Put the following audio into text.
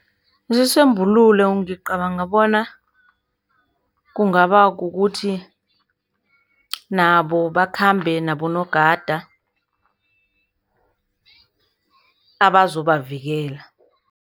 Isisombululo ngicabanga bona kungaba kukuthi, nabo bakhambe nabonogada abazobavikela.